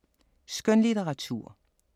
Skønlitteratur